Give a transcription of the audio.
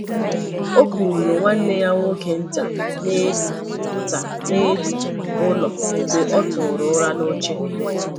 O kuuru nwanne ya nwoke nta n'elu nta n'elu ụlọ mgbe ọ tụrụ ụra n’oche.